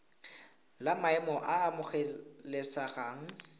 la maemo a a amogelesegang